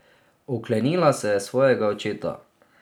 Oklenila se je svojega očeta.